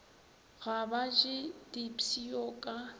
ga ba je dipshio ka